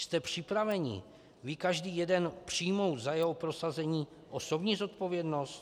Jste připraveni, vy, každý jeden, přijmout za jeho prosazení osobní zodpovědnost?